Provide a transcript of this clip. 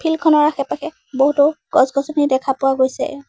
Field খনৰ আশে পাশে বহুতো গছ গছনি দেখা পোৱা গৈছে।